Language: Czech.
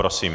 Prosím.